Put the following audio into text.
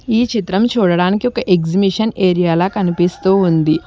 ఈ చిత్రం చూడడానికి ఒక ఎగ్జిబిషన్ ఏరియాలా కనిపిస్తూ ఉంది.